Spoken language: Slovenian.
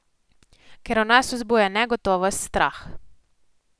Ker v nas vzbuja negotovost, strah.